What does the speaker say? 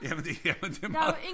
Jamen det er det meget